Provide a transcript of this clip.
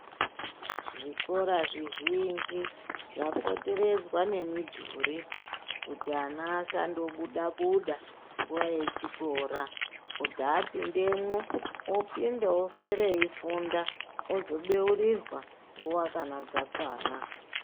Zvikora zvizhinji zvapoteredzwa nemidhuri, kuti ana asandobuda-buda, nguwa yechikora. Kuti apindemwo, opinda oswere eifunda, ozobeurirwa nguwa kana dzakawanda.